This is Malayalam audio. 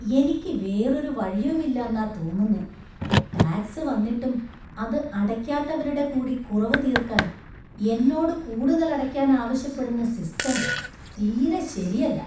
എനിക്ക് വേറൊരു വഴിയുമില്ലാന്നാ തോന്നുന്നേ , ടാക്സ് വന്നിട്ടും അത് അടയ്ക്കാത്തവരുടെ കൂടി കുറവ് തീര്‍ക്കാന്‍ എന്നോട് കൂടുതൽ അടയ്ക്കാൻ ആവശ്യപ്പെടുന്ന സിസ്റ്റം തീരെ ശെരിയല്ല.